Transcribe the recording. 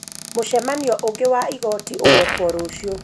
Mũcemanio ungĩ wa igooti ugĩkwo rũciũ.